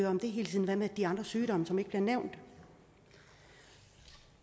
om det hele tiden hvad med de andre sygdomme som ikke bliver nævnt